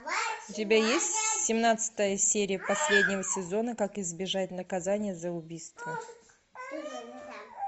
у тебя есть семнадцатая серия последнего сезона как избежать наказания за убийство